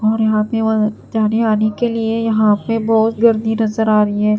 और यहां पे वह जाने आने के लिए यहां पे बहोत गर्दी नजर आ रही है।